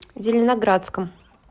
зеленоградском